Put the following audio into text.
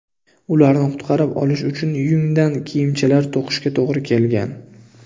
Ularni qutqarib qolish uchun yungdan kiyimchalar to‘qishga to‘g‘ri kelgan.